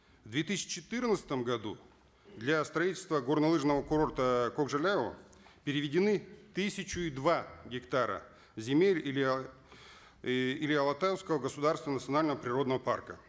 в две тысяча четырнадцатом году для строительства горнолыжного курорта кокжайлау переведены тысячу и два гектара земель или алатауского государственного национального природного парка